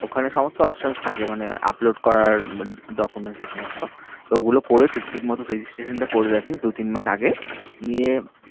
ওখানে সমস্ত option থাকে মানে upload করার documents এ সমস্ত তো ও গুলো করে ঠিক ঠিক মতো registration টা করে রাখিস দু তিন মাস আগে নিয়ে